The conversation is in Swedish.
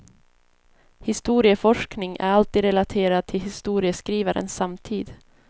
Historieforskning är alltid relaterad till historieskrivarens samtid.